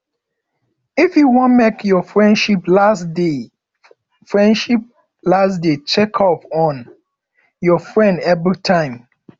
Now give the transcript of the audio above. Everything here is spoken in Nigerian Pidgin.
if you wan make your friendship last dey friendship last dey check up on your friend everytime